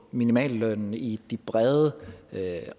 minimallønnen i de brede